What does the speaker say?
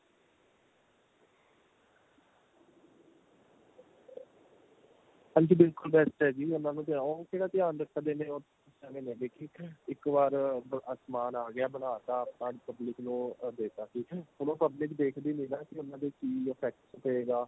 ਹਾਂਜੀ ਬਿਲਕੁਲ best ਏ ਜੀ ਉਹਨਾ ਨੂੰ ਉਹ ਕਿਹੜਾ ਧਿਆਨ ਰੱਖਦੇ ਨੇ ਏਵੈ ਮੇਂ ਦੇਖੇ ਇੱਕ ਇੱਕ ਵਾਰ ਸਮਾਨ ਆ ਗਿਆ ਬਣਾ ਤਾਂ ਆਪਾਂ public ਨੂੰ ਦੇਤਾ ਠੀਕ ਏ ਹੁਣ ਉਹ public ਦੇਖਦੀ ਨੀ ਨਾ ਕੀ ਉਹਨਾ ਤੇ ਕੀ effect ਪਾਏਗਾ